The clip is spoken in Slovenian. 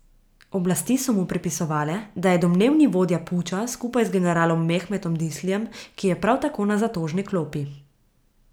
Oblasti so mu pripisovale, da je domnevni vodja puča skupaj z generalom Mehmetom Dislijem, ki je prav tako na zatožni klopi.